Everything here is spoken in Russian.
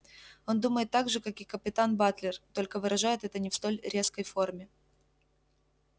он думает так же как и капитан батлер только выражает это не в столь резкой форме